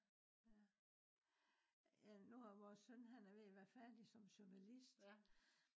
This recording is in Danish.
ja. ja nu er vores søn ved at være færdig som journalist